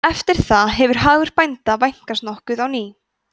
eftir það hefur hagur bænda vænkast nokkuð á ný